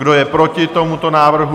Kdo je proti tomuto návrhu?